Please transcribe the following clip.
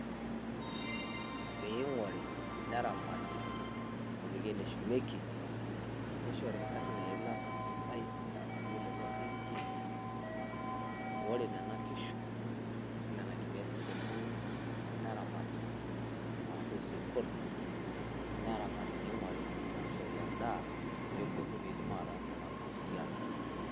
Ping`ori ,neramati, nepiki ene shumieki nishorna inkarn eilata sidai